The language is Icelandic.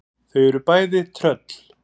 Þau eru bæði tröll.